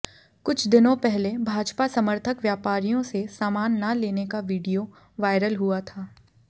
कुछ दिनों पहले भाजपा समर्थक व्यापारियों से सामान न लेने का वीडियो वायरल हुआ था